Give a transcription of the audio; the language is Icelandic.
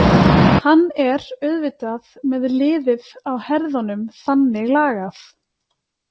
Hann er auðvitað með liðið á herðunum þannig lagað.